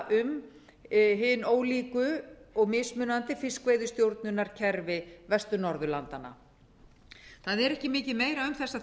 um hin ólíku og mismunandi fiskveiðistjórnarkerfi vestur norðurlandanna það er ekki mikið meira um þessa